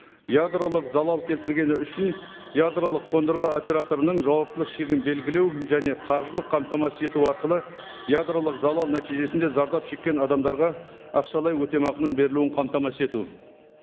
ядролық залал келтіргені үшін ядролық қондырғы операторының жауаптылық шегін белгілеу және қаржылық қамтамасыз ету арқылы ядролық залал нәтижесінде зардап шеккен адамдарға ақшалай өтемақының берілуін қамтамасыз ету